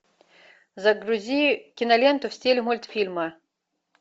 загрузи киноленту в стиле мультфильма